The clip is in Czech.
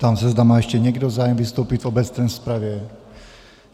Ptám se, zda má ještě někdo zájem vystoupit v obecné rozpravě.